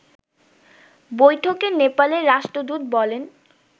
বৈঠকে নেপালের রাষ্ট্রদূত বলেন